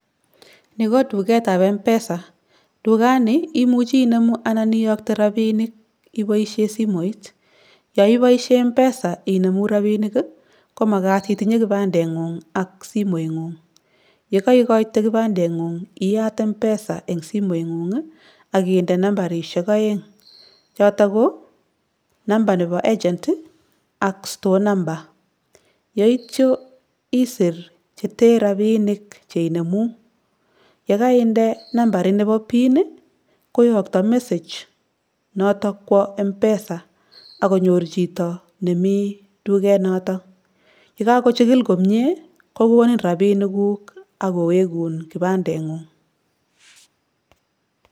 Ni ko duketap M-PESA. Dukani imuchi inemu anan iyokte rapinik iboishe simoit. Yoiboishe [csM-PESA inemu rabinik, ko makat itinye kibandeng'ung ak simoing'ung. Yekoikoite kibandendeng'ung iyat M-PESA eng simeng'ung akinde nambarishek aeng choto ko:number nepo agent, ak store number yeityo isir chete rapinik cheinemu. Yekaine nambarit nepo pin, koyokto message noto kwo M-PESA akonyor chito nemi dukenoto. Yekakochikil komie kokonin rapinikuk akowekun kibandeng'ung.